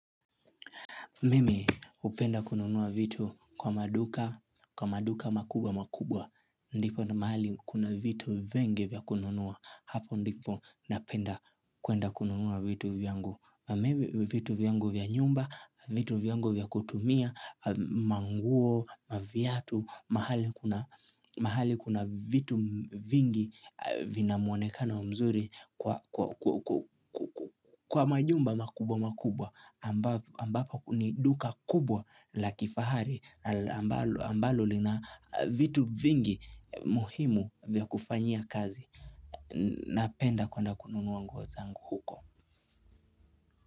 Mimi hupenda kununua vitu kwa maduka, kwa maduka makubwa makubwa, ndipo na mahali kuna vitu vengi vya kununua, hapo ndipo napenda kuenda kununua vitu vyangu, vitu vyangu vya nyumba, vitu vyangu vya kutumia, manguo, maviatu, mahali kuna vitu vingi vina muonekano mzuri kwa kwa majumba makubwa makubwa, ambapo ni duka kubwa la kifahari na ambalo lina vitu vingi muhimu vya kufanyia kazi napenda kwenda kununua nguo zangu huko.